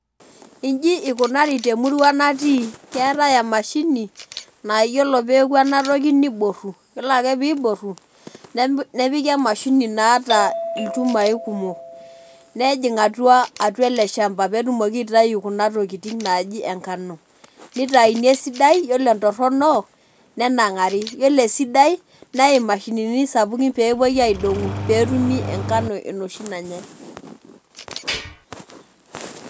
Inji ikunari te murua natii keetai emashini naa iyiolo peeku ena toki niboru. Yiolo ake piiboru nep nepiki emashini naata ilchumai kumok nejing' atua atua ele shamba peetumoki aitayu kuna tokitin naaji enkano. Nitayuni esidai iyiolo entorono nenang'ari iyiolo esidai neai imashinini sapukin peepuoi aidong'u peetumi enkano enoshi nanyai.